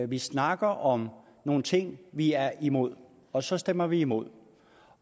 vi snakker om nogle ting vi er imod og så stemmer vi imod